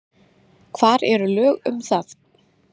Hvar eru lög um það?